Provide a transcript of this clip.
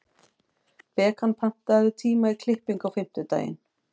Bekan, pantaðu tíma í klippingu á fimmtudaginn.